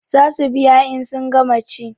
Za su biya in sun gama ci